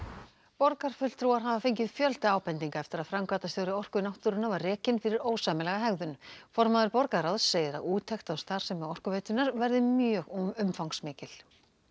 borgarfulltrúar hafa fengið fjölda ábendinga eftir að framkvæmdastjóri Orku náttúrunnar var rekinn fyrir ósæmilega hegðun formaður borgarráðs segir að úttekt á starfsemi Orkuveitunnar verði mjög umfangsmikil